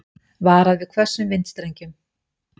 Varað við hvössum vindstrengjum